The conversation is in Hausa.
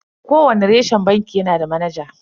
Kowani reshen banki yanada manaja.